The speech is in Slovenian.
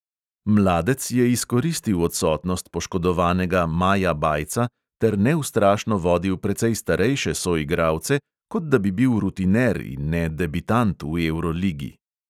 Mladec je izkoristil odsotnost poškodovanega maja bajca ter neustrašno vodil precej starejše soigralce, kot da bi bil rutiner in ne debitant v evroligi.